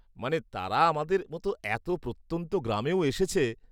মানে, তারা আমাদের মতো এত প্রত্যন্ত গ্রামেও এসেছে।